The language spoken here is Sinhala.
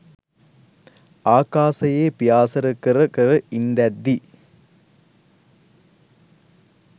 ආකාසයේ පියාසර කර කර ඉන්දැද්දී